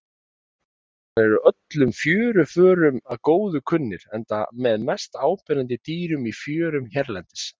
Hrúðurkarlar eru öllum fjöruförum að góðu kunnir enda með mest áberandi dýrum í fjörum hérlendis.